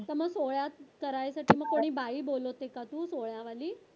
समज सोहळ्यात करायसाठी मग कोणी बाई बोलवते का तू सोहळ्यावाली?